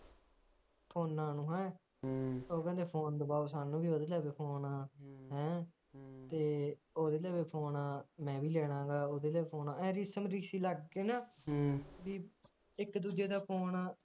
ਫੋਨਾਂ ਨੂੰ ਹੈਂ ਉਹ ਕਹਿੰਦੇ ਫੋਨ ਦਬਾਓ ਸਾਨੂੰ ਫੋਨ ਹੈਂ ਤੇ ਓਹਦੇ ਕੋਲ ਵੀ ਫੋਨ ਆ ਮੈ ਵੀ ਲੈਣਾ ਹੈਗਾ ਓਹਦੇ ਤੋਂ ਵੀ ਫੋਨ ਪਿੱਛੇ ਲੱਗ ਕੇ ਨਾ ਇਕ ਦੂਜੇ ਦਾ ਫੋਨ